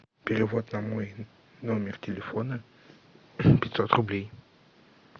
перевод на мой номер телефона пятьсот рублей